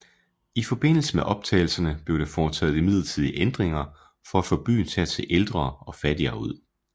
I forbindelse med optagelserne blev der foretaget midlertidige ændringer for at få byen til at se ældre og fattigere ud